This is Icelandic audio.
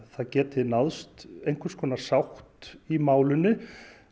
það geti náðst einhvers konar sátt í málinu